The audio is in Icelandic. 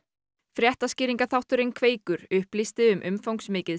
fréttaskýringaþátturinn Kveikur upplýsti um umfangsmikið